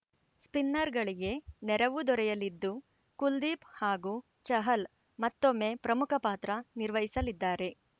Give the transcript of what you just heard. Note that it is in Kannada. ಸ್ಪಿನ್ನರ್‌ಗಳಿಗೆ ನೆರವು ದೊರೆಯಲಿದ್ದು ಕುಲ್ದೀಪ್‌ ಹಾಗೂ ಚಹಲ್‌ ಮತ್ತೊಮ್ಮೆ ಪ್ರಮುಖ ಪಾತ್ರ ನಿರ್ವಹಿಸಲಿದ್ದಾರೆ